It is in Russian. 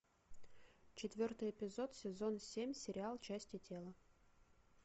четвертый эпизод сезон семь сериал части тела